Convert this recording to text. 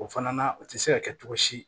O fana o tɛ se ka kɛ cogo si